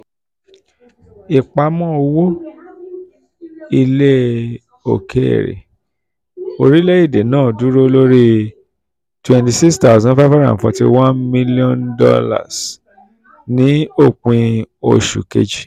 ìpamọ́ um owó um ilẹ̀ òkèèrè orílẹ̀-èdè náà dúró lórí $ twenty six thousand five hundred forty one million $ twenty six thousand five hundred forty one million ní òpin oṣù kejì.